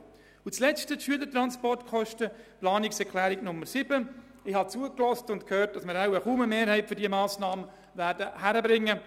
Zur Planungserklärung, Schülertransportkosten: Ich habe zugehört und bemerkt, dass wir wahrscheinlich kaum eine Mehrheit für diese Massnahme zustande bringen.